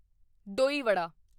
ਡੋਈ ਵਡਾ দই বড়া